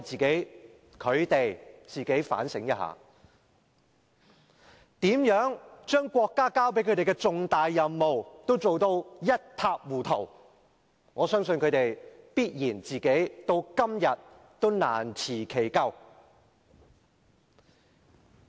請他們自我反省一下，如何把國家交給他們的重大任務做得一塌糊塗，我相信他們到今天也難辭其咎。